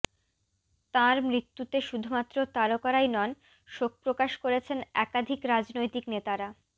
তাঁর মৃত্যুতে শুধুমাত্র তারকারাই নন শোকপ্রকাশ করেছেন একাধিক রাজনৈতিক নেতারা